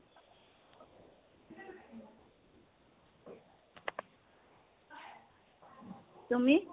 তুমি?